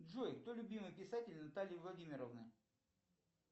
джой кто любимый писатель натальи владимировны